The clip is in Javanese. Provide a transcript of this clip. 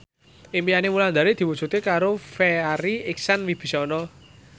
impine Wulandari diwujudke karo Farri Icksan Wibisana